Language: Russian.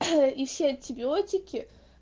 и все антибиотики